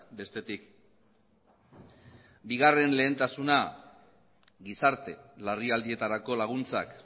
bestetik bigarren lehentasuna gizarte larrialdietarako laguntzak